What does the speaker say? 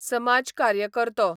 समाजकार्यकरतो